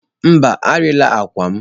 Mba, arịla akwa m.